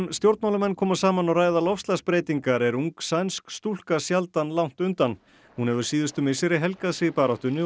stjórnmálamenn koma saman og ræða loftslagsbreytingar er ung sænsk stúlka sjaldan langt undan hún hefur síðustu misseri helgað sig baráttunni